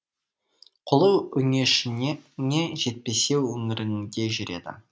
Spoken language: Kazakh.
қолы өңешіңе жетпесе өңіріңде жүреді